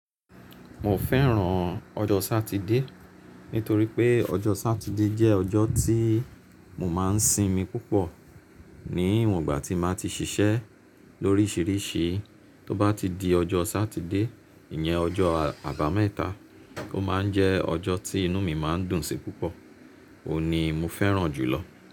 Mo fẹ́ràn ọjọ́ Sátidé nítorí pé ọjọ́ Sátidé jẹ́ ọjọ́ tí mo máa ń sinmi púpọ̀. Ní ìwògbà tí màá ti ṣiṣẹ́ lóríṣiríṣi, tó bá ti di ọjọ́ Sátidé, ìyẹn ọjọ́ Àbámẹ́ta, ó máa ń jẹ ọjọ́ tí inú mi máa ń dùnsi púpọ̀. Òhun ni mo fẹ́ràn jùlọ.